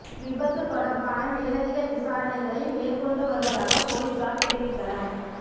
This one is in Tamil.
விபத்து தொடர்பான மேலதிக விசாரணைகளை மேற்கொண்டு வருவதாக பொலிஸார் தெரிவித்தனர்